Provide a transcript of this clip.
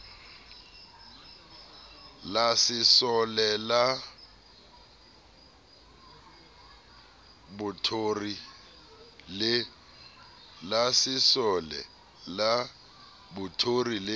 la sesole la bothori le